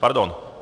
Pardon.